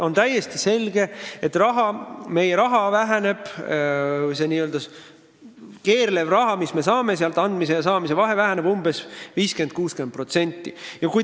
On täiesti selge, et kui me võtame andmise ja saamise vahe, siis väheneb saadav summa 50–60%.